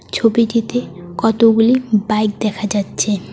ছবিটিতে কতগুলি বাইক দেখা যাচ্ছে।